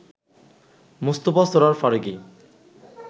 Mostafa Sarwar Farooki